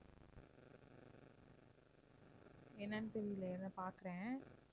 என்னன்னு தெரியல இருங்க பார்க்கிறேன்.